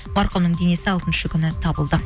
марқұмның денесі алтыншы күні табылды